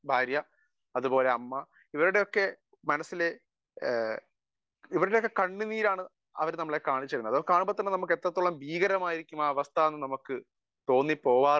Speaker 1 ഭാര്യ അതുപോലെ അമ്മ ഇവരുടെയൊക്കെ മനസ്സിലെ ഇവരുടെ കണ്ണുനീരാണ് നമ്മളെ കാണിച്ചുതരുന്നത് . അത് കാണുമ്പം തന്നെ എത്രത്തോളം ഭീകരമാണ് അവസ്ഥ എന്ന് നമുക്ക് തോന്നിപ്പോവാറുണ്ട്